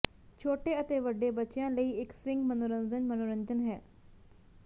ਛੋਟੇ ਅਤੇ ਵੱਡੇ ਬੱਚਿਆਂ ਲਈ ਇੱਕ ਸਵਿੰਗ ਮਨੋਰੰਜਨ ਮਨੋਰੰਜਨ ਹੈ